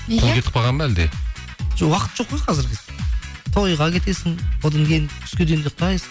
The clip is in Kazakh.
қол кетіп қалған ба әлде жоқ уақыт жоқ қой қазір тойға кетесің одан кейін түске дейін ұйықтайсың